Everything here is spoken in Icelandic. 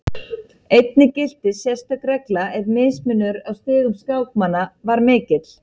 Einnig gilti sérstök regla ef mismunur á stigum skákmanna var mikill.